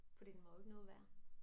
Fordi den var jo ikke noget værd